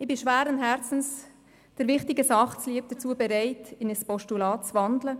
Ich bin schweren Herzens, der wichtigen Sache zuliebe, dazu bereit, in ein Postulat zu wandeln.